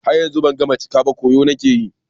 Har yanzu ban cika cika ba, koyo kawai nake yi.